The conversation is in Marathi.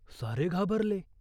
सारे घाबरले.